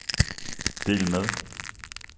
del med